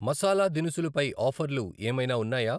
మసాలా దినుసులు పై ఆఫర్లు ఏమైనా ఉన్నాయా ?